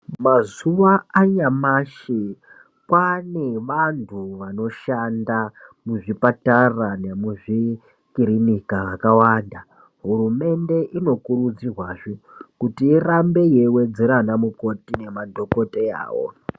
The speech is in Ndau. Mazuwa anyamashi kwane vantu vanoshanda muzvipatara nemuzvikirinika akawanda. Hurumende inokurudzirwazve kuti irambe yeiwedzera anamukoti nemadhokodheyawo.